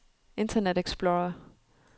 internet explorer